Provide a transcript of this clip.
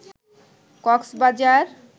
Cox's Bazar